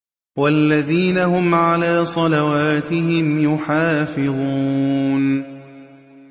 وَالَّذِينَ هُمْ عَلَىٰ صَلَوَاتِهِمْ يُحَافِظُونَ